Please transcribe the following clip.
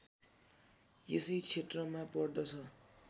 यसै क्षेत्रमा पर्दछ